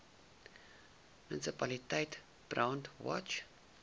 munisipaliteit brandwatch